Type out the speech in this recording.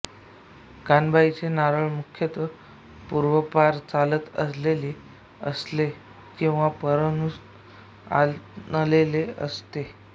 कानबाईचे नारळ मुख्यतः पुर्वापार चालत आलेले असते किंवा परनुन आणलेले असते